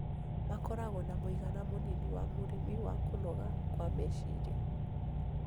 Makoragũo na mũigana mũnini wa mũrimũ wa kũnoga kwa meciria.